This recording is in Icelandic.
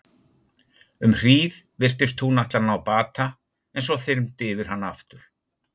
Um hríð virtist hún ætla að ná bata en svo þyrmdi yfir hana aftur.